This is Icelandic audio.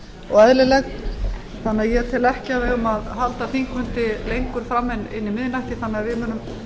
og eðlileg þannig að ég tel ekki að við eigum að halda þingfundi lengur fram en inn í miðnættið þannig að við munum